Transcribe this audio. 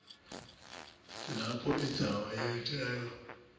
lapho indzaba yenteka